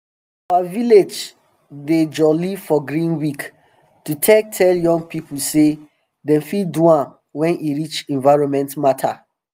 our village dey jolly for green week to um take tell young pipu say dem fit do am wen e reach environment matter